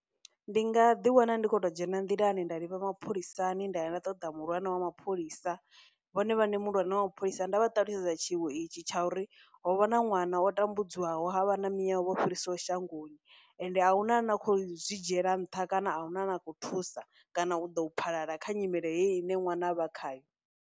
Ndi nga ḓi wana ndi khou to dzhena nḓilani nda ḽivha mapholisani nda ya nda ṱoḓa muhulwane wa mapholisa, vhone vhane muhulwane wa mapholisa nda vha ṱalutshedza tshiwo itshi tsha uri ho vha na ṅwana o tambudzwaho ha vha na miyawe vho fhiriswaho shangoni, ende ahuna ane a khou zwi dzhiela nṱha, kana ahuna a na khou thusa kana u ḓo phalala kha nyimele heyi ine ṅwana a vha khayo.